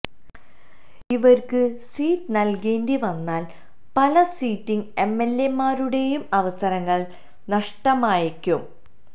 ഇവർക്ക് സീറ്റ് നൽകേണ്ടി വന്നാൽ പല സിറ്റിങ് എംഎൽഎമാരുടെയും അവസരങ്ങൾ നഷ്ടമായേക്കും